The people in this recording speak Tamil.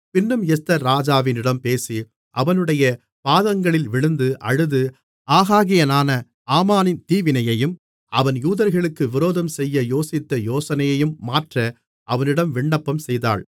பின்னும் எஸ்தர் ராஜாவிடம் பேசி அவனுடைய பாதங்களில் விழுந்து அழுது ஆகாகியனான ஆமானின் தீவினையையும் அவன் யூதர்களுக்கு விரோதம் செய்ய யோசித்த யோசனையையும் மாற்ற அவனிடம் விண்ணப்பம் செய்தாள்